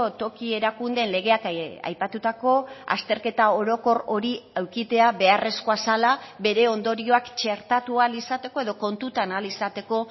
toki erakundeen legeak aipatutako azterketa orokor hori edukitzea beharrezkoa zela bere ondorioak txertatu ahal izateko edo kontutan ahal izateko